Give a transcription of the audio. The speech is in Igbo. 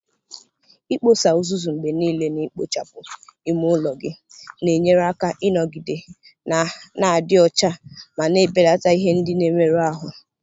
Ikposa uzuzu mgbe niile na ikpochapụ ime ụlọ gị na-enyere aka ịnọgide na-adị ọcha ma na-ebelata ihe ndị na-emerụ ahụ.